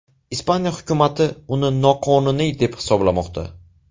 Ispaniya hukumati uni noqonuniy deb hisoblamoqda.